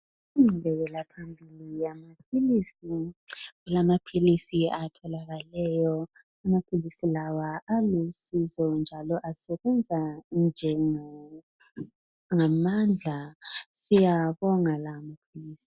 Ingqubekela phambili yokuswelakala kwamaphilisi kukanti amaphilisi lawo alusizo ebantwini , asebenza ngamandla siyawabonga lawo maphilizi.